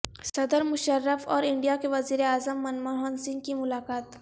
صدر مشرف اور انڈیا کے وزیر عظم منموہن سنگھ کی ملاقات